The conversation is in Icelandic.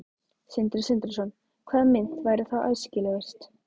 Sindri Sindrason: Hvaða mynt væri þá æskilegust?